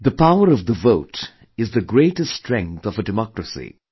The power of the vote is the greatest strength of a democracy